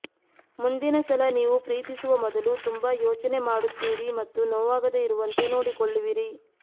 ಮುಂದಿನ ಸಲ ನೀವು ಪ್ರೀತಿಸುವ ಮೊದಲು ತುಂಬಾ ಯೋಚನೆ ಮಾಡುತ್ತೀರಿ ಮತ್ತು ನೋವಾಗದೆ ಇರುವಂತೆ ನೋಡಿಕೊಳ್ಳುವಿರಿ